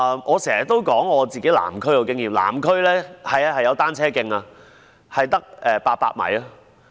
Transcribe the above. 我經常提及我所屬的南區的經驗，南區有單車徑，但只有800米。